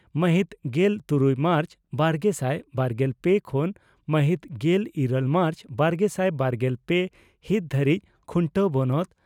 ᱢᱟᱦᱤᱛ ᱜᱮᱞ ᱛᱩᱨᱩᱭ ᱢᱟᱨᱪ ᱵᱟᱨᱜᱮᱥᱟᱭ ᱵᱟᱨᱜᱮᱞ ᱯᱮ ᱠᱷᱚᱱ ᱢᱟᱦᱤᱛ ᱜᱮᱞ ᱤᱨᱟᱹᱞ ᱢᱟᱨᱪ ᱵᱟᱨᱜᱮᱥᱟᱭ ᱵᱟᱨᱜᱮᱞ ᱯᱮ ᱦᱤᱛ ᱫᱷᱟᱹᱨᱤᱡ ᱠᱷᱩᱱᱴᱟᱹ ᱵᱚᱱᱚᱛ